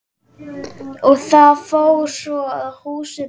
Og það fór svo að húsið brann.